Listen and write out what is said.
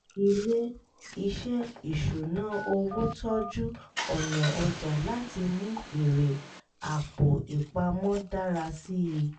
ilé-iṣẹ́ ìṣúnná owó tọjú ọ̀nà ọjà láti mú èrè àpò-ìpamọ́ dára sí i